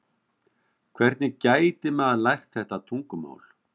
Hvernig gæti maður lært þetta tungumál?